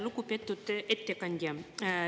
Lugupeetud ettekandja!